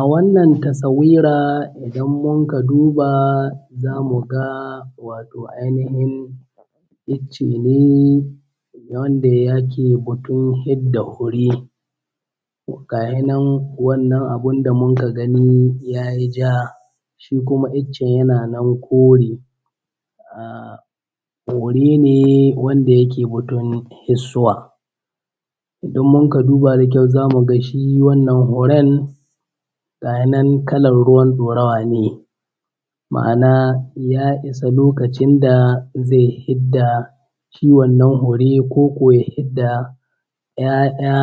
A wannan taswira idan muka duba za mu ga akwai ainihin icce ne wanda yake batun fidda fure. To gs shi nan wannan abun da yake ya yi ja kuma iccen yana nan kore, fure ne wanda yake fesuwa. Idan muka duba da ƙyau za mu ga shi wannan huren ga shi nan kalar ɗaurawa ne, ma'ana ya isa lokacin da zai fidda shi wannan huren da ya fidda zai yi 'ya'ya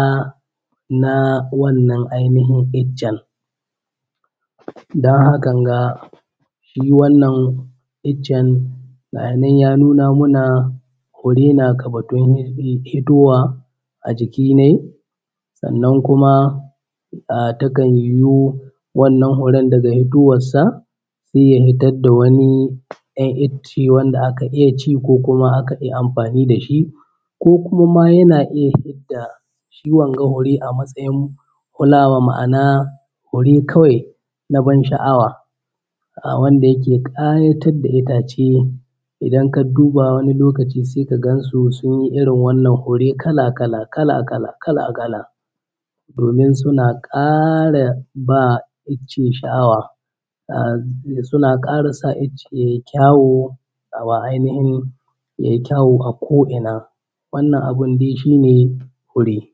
na wannan ainihin iccen don hakan ga shi wannan iccen ga shi na ya nuna mana fure na ga batun fitowa a jikin nai. Sannan wannan furen daga fitowansa sai ya fiddar da wani ɗan icce wanda akn iya ci ko kuma akan yi amfani da shi, ko kuma yana iya fidda shi wannan fure a matsayin fulawa, ma'ana fure na ban sha'awa wanda yake ƙayatar da itaCe idan ka duba sai ka gansu sun yi irin wannan hure kala-kala domin suna ƙara b icce sha'awa ya ƙara sa icce ya yi ƙyau ainihin ya ƙyau a ko'ina. Wannan abun da shi ne fure.